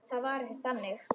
Það var ekkert þannig.